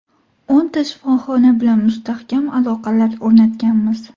O‘nta shifoxona bilan mustahkam aloqalar o‘rnatganmiz.